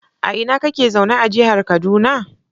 A ina kake zaune a jihar kaduna?